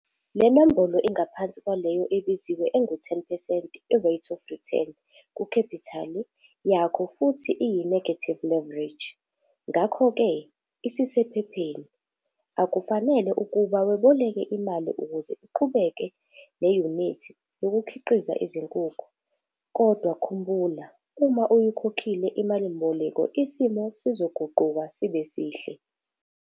Le nombolo ingaphansi kwaleyo ebiziwe engu-10 percent i-rate of return kukhephithali yakho futhi iyi-negative leverage. Ngakho ke, isisephepheni, akufanele ukuba weboleke imali ukuze iqhubeke neyunithi yokukhiqiza izinkukhu. Kodwa khumbula uma uyikhokhile imalimboleko isimo sizoguquka sibe sihle.